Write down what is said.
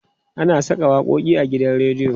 ana Saka waƙoƙi a gidan rediyo